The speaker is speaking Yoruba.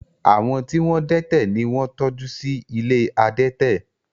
Àwọn tí wọ́n dẹ́tẹ̀ ni wọ́n ń tọ́jú sí ilé adẹ́tẹ̀